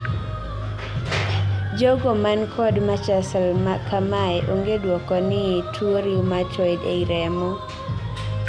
jogo man kod machsl kamae, onge duoko ni tuo rheumatoid ei remo